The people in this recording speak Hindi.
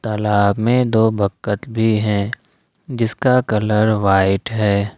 तालाब में दो बखत भी हैं जिसका कलर व्हाइट है।